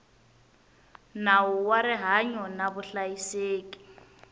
nawu wa rihanyo na vuhlayiseki